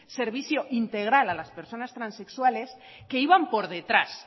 servicio integral a las personas transexuales que iban por detrás